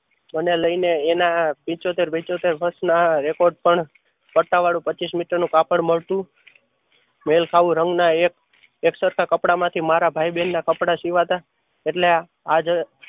મને લય ને એના પિંચોતેર પિંચોતેર વર્ષ ના recode પણ પટ્ટાવાળું પંચીશ મીટર નું કાપડ મળતું રંગ ના એક સરખા કપડાં માંથી મારા ભાઈબેન ના કપડાં સીવતા એટલે આજ